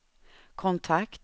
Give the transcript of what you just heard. kontakt